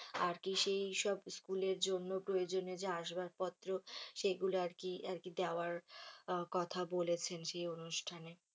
আরকি সেই সব school এর জন্য প্রয়োজনীয় যে আসবাবপত্র সেগুলো আরকি আরকি দেওয়ার কথা বলেছেন সেই অনুষ্ঠানে।